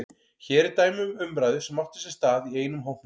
Hér er dæmi um umræðu sem átti sér stað í einum hópnum